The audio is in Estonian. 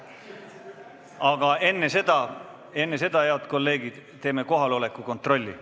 Aga enne seda, head kolleegid, teeme kohaloleku kontrolli.